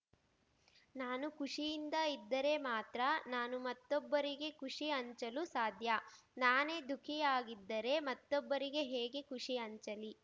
ನಾನು ಖುಷಿಯಿಂದ ಇದ್ದರೆ ಮಾತ್ರ ನಾನು ಮತ್ತೊಬ್ಬರಿಗೆ ಖುಷಿ ಹಂಚಲು ಸಾಧ್ಯ ನಾನೇ ದುಖಿಯಾಗಿದ್ದರೆ ಮತ್ತೊಬ್ಬರಿಗೆ ಹೇಗೆ ಖುಷಿ ಹಂಚಲಿ